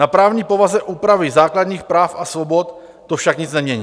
Na právní povaze úpravy základních práv a svobod to však nic nemění.